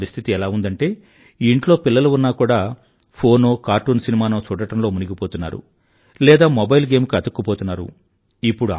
ఇప్పుడు పరిస్థితి ఎలా ఉందంటే ఇంట్లో పిల్లలు ఉన్నా కూడా ఫోనో కార్టూన్ సినిమానో చూడడంలో మునిగిపోతున్నారు లేదా మొబైల్ గేమ్ కి అతుక్కుపోతున్నారు